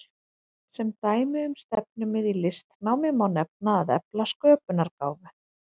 Sem dæmi um stefnumið í listnámi má nefna að efla sköpunargáfu.